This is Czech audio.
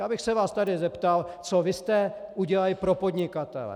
Já bych se vás tady zeptal, co vy jste udělali pro podnikatele?